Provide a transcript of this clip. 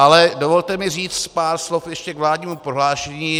Ale dovolte mi říct pár slov ještě k vládnímu prohlášení.